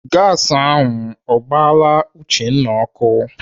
Gasi ọ gbaala Uchenna ọkụ?